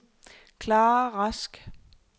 Klara Rask